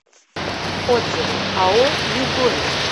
отзывы ао югория